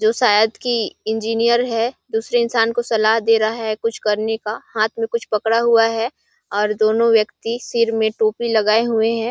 जो शायद कि इंजीनियर है दूसरे इंसान को सलाह दे रहा है कुछ करने का हाथ में कुछ पड़ा हुआ है और दोनों व्यक्ति सिर में टोपी लगाए हुए हैं।